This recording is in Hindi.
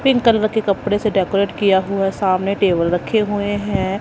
पिंक कलर के कपड़े से डेकोरेट किया हुआ सामने टेबल रखे हुए है।